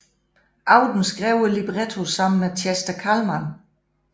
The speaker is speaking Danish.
Auden skrev librettoen sammen med Chester Kallman